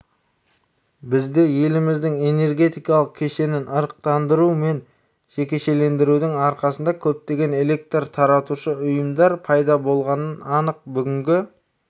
бізде еліміздің энергетикалық кешенін ырықтандыру мен жекешелендірудің арқасында көптеген электр таратушы ұйымдар пайда болғаны анық бүгінгі